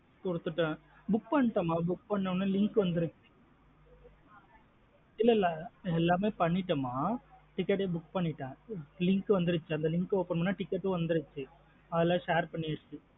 குடுத்துட்டேன் book பண்டேன் மா book பண்ணதும் link வந்த்ருச்சு. இல்லா இல்லா எல்லாமே பண்ணிட்டேன் மா ticket ஏ book பண்ணிட்டேன் மா link வாந்த்ருச்சு அந்த link open பண்ணா ticket உம் வந்த்ருச்சு அதெல்லாம் share பண்ணியாச்சு.